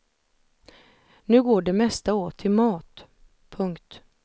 Nu går det mesta åt till mat. punkt